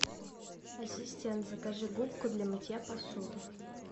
ассистент закажи губку для мытья посуды